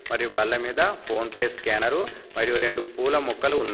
మరియు బల్ల మీద ఫోన్ పే స్కానరు మరియు రెండు పూల మొక్కలు ఉన్నా --